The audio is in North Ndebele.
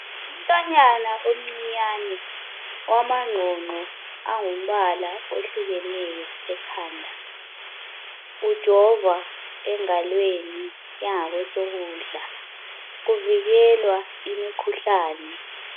Umntwanyana omncinyane owamangqongqo angumbala ohlekeneyo ekhanda , ujovwa engalweni yangasokudla kuvikelwa imikhuhlane